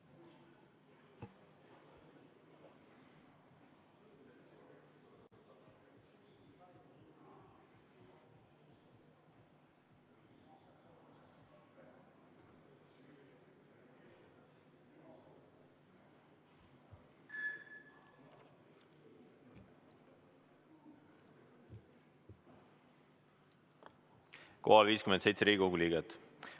Kohal on 57 Riigikogu liiget.